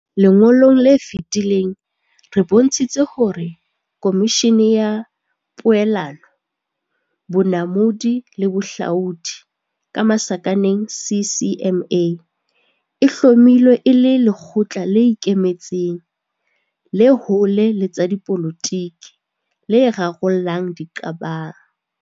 Lengolong le fetileng re bontshitse hore Khomishene ya Poelano, Bonamodi le Bohlaodi, CCMA, e hlomilwe e le lekgotla le ikemetseng, le hole le tsa dipolotike, le rarollang diqabang.